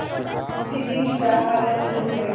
मुंशी जी विचारसागर में डूब गये